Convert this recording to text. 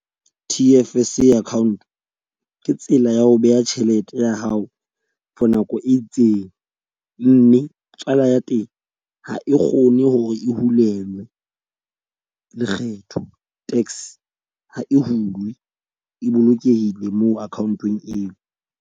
T_F_S account ke tsela ya ho beha tjhelete ya hao for nako e itseng. Mme tswala ya teng ha e kgone hore e hulelwe lekgetho. Tax ha e hulwe e bolokehile moo account-ong eo.